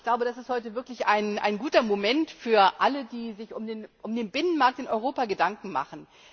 Ich glaube, das ist heute wirklich ein guter Moment für alle, die sich um den Binnenmarkt in Europa Gedanken machen.